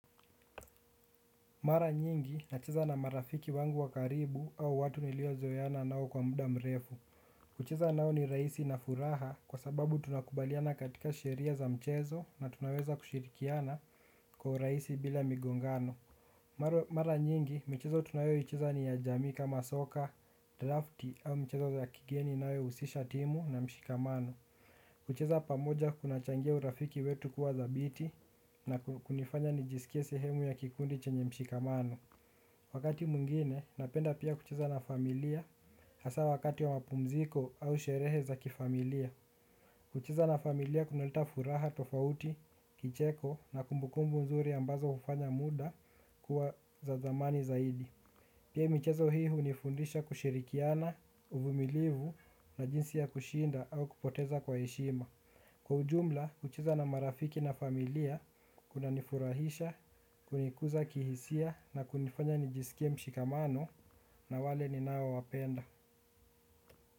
Mara nyingi nacheza na marafiki wangu wa karibu au watu nilio zoeana nao kwa muda mrefu kucheza nao ni rahisi na furaha kwa sababu tunakubaliana katika sheria za mchezo na tunaweza kushirikiana kwa urahisi bila migongano mara mara nyingi michezo tunayo icheza ni ya jamii kama soka, drafti au michezo za kigeni inayo husisha timu na mshikamano kucheza pamoja kuna changia urafiki wetu kuwa dhabiti na kunifanya nijisikie sehemu ya kikundi chenye mshikamano. Wakati mwingine, napenda pia kucheza na familia hasa wakati wa mapumziko au sherehe za kifamilia. Kucheza na familia kunaleta furaha, tofauti, kicheko na kumbukumbu nzuri ambazo hufanya muda kuwa za zamani zaidi. Pia michezo hunifundisha kushirikiana, uvumilivu na jinsi ya kushinda au kupoteza kwa heshima. Kwa ujumla, kucheza na marafiki na familia, kuna nifurahisha, kunikuza kihisia na kunifanya nijisikie mshikamano na wale ninao wa penda.